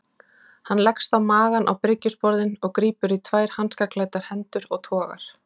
Hann leggst á magann á bryggjusporðinn og grípur í tvær hanskaklæddar hendur og togar.